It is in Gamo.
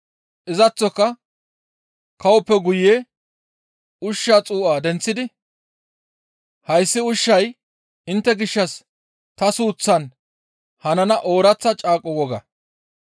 Izaththoka kawoppe guye ushshaa xuu7a denththidi, «Hayssi ushshay intte gishshas ta suuththaan hanana ooraththa caaqo woga.